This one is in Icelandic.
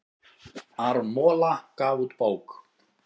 Aron Mola gaf út bók